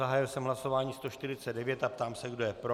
Zahájil jsem hlasování 149 a ptám se, kdo je pro.